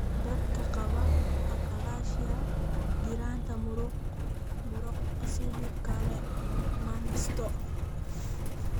Dadka qaba achalasia, giraanta muruqa sidoo kale ma nasato.